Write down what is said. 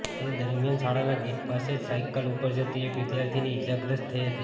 તે દરમિયાન શાળાના ગેટ પાસે જ સાયકલ ઉપર જતી એક વિદ્યાર્થીની ઇજાગ્રસ્ત થઇ હતી